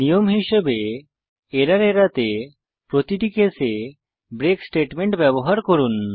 নিয়ম হিসাবে এরর এড়াতে প্রতিটি কেসে ব্রেক স্টেটমেন্ট ব্যবহার করুন